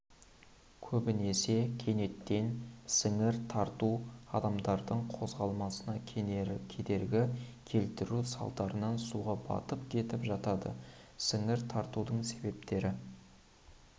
көбінесе кенеттен сіңір тарту адамдардың қозғаласына кедергі келтіру салдарынан суға батып кетіп жатады сіңір тартудың себептері